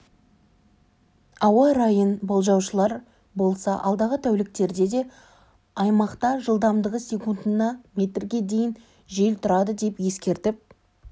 ауа райын болжаушылар болса алдағы тәуліктерде де аймақта жылдамдығы секундына метрге дейін жел тұрады деп ескертіп